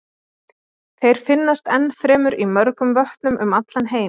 Þeir finnast ennfremur í mörgum vötnum um allan heim.